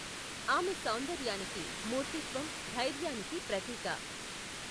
ఆమె సౌందర్యానికి మూర్తిత్వం, ధైర్యానికి ప్రతీక.